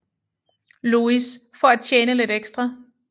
Louis for at tjene lidt ekstra